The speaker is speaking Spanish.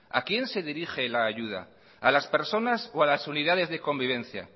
a quién se dirige la ayuda a las personas o a las unidades de convivencia